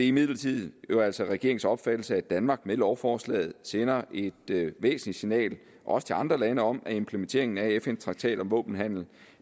imidlertid jo altså regeringens opfattelse at danmark med lovforslaget sender et væsentligt signal også til andre lande om at implementeringen af fn traktaten om våbenhandel